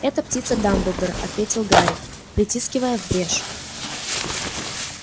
это птица дамблдора ответил гарри протискивая в брешь